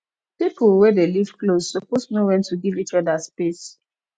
pipo wey dey live close suppose know wen to give each oda space